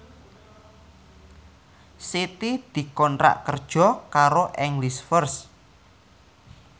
Siti dikontrak kerja karo English First